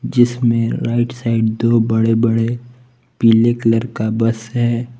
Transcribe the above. जिसमें right side दो बड़े बड़े पीले कलर का बस है।